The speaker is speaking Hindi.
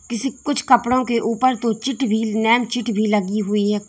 जैसे कुछ कपड़ों के ऊपर दो चिट भी नैन चिट भी लगी हुई है।